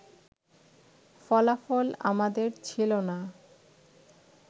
ফলাফল আমাদের ছিল না